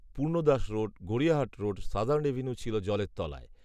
পূর্ণ Das road, Gariahat road, southern avenue ছিল জলের তলায়